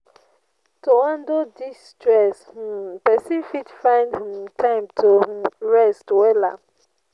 To handle dis stress, um pesin fit find um time to um rest wella.